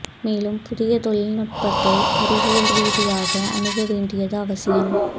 மேலும் புதிய தொழில்நுட்பத்தை அறிவியல் ரீதியாக அணுக வேண்டியது அவசியம்